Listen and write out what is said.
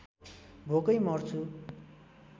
भोकै मर्छु